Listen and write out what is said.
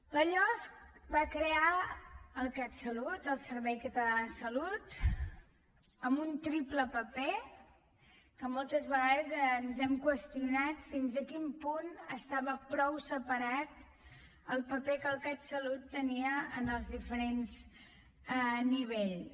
la losc va crear el catsalut el servei català de la salut amb un triple paper que moltes vegades ens hem qüestionat fins a quin punt estava prou separat el paper que el catsalut tenia en els diferents nivells